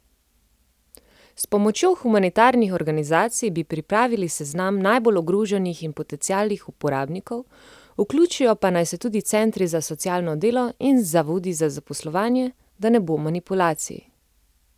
S pomočjo humanitarnih organizacij bi pripravili seznam najbolj ogroženih in potencialnih uporabnikov, vključijo pa naj se tudi centri za socialno delo in zavodi za zaposlovanje, da ne bo manipulacij.